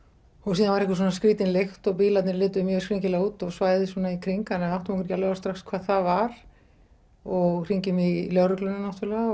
síðan var einhver skrýtin lykt og bílarnir litu mjög skringilega út og svæðið svona í kring þannig við áttum okkur ekki alveg á því strax hvað það var og hringjum í lögregluna náttúrulega